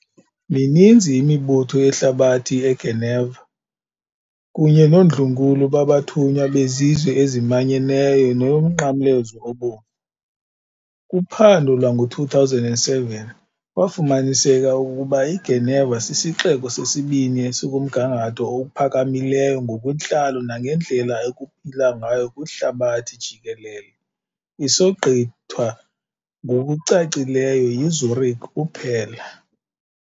Mininzi imibutho yehlabathi eGeneva, kunye noondlunkulu babathunywa bezizwe ezimanyeneyo neyoMnqamlezo Obomvu. Kuphando lwango-2007 kwafumaniseka okokuba iGeneva sisixeko sesibini esikumgangatho ophakamileyo ngokwentlalo nangendlela ekuphilwa ngayo kwihlabathi jikelele isogqithwa ngokucacileyo yiZürich kuphela.